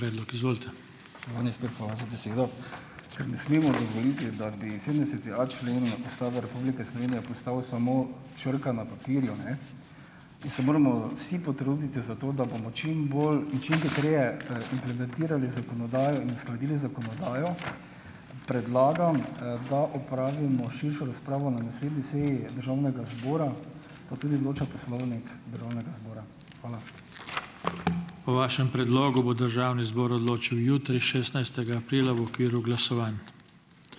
Hvala za besedo! Ker ne smemo dovoliti, da bi sedemdesetia člen Ustave Republike Slovenije postal samo črka na papirju, ne, in se moramo vsi potruditi za to, da bomo čim bolj in čim hitreje implementirali zakonodajo in uskladili zakonodajo, predlagam, da opravimo širšo razpravo na naslednji seji državnega zbora, ko tudi določa poslovnik državnega zbora. Hvala.